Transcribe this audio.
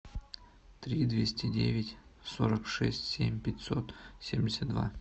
три двести девять сорок шесть семь пятьсот семьдесят два